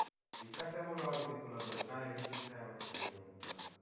कशामुळ आवडत्यात तुला काय विशेष काय वाटत तुला त्यांच्यामधी तुला